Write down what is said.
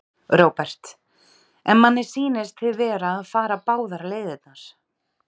Róbert: En manni sýnist þið vera að fara báðar leiðirnar?